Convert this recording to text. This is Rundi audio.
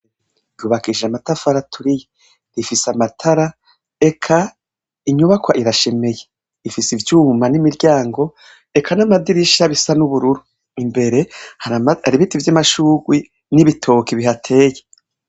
Kubakishije amatafari aturiye rifise amatara eka inyubakwa irashemeye ifise ivyuma nimiryango eka namadirisha bisa nubururu imbere hari ibiti vyamashurwe nibitoki bihateye